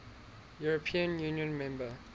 european union member